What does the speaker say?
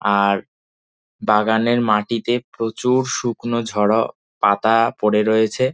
আর বাগানের মাটিতে প্রচুর-অ শুকনো ঝরা পাতা পড়ে রয়েছে।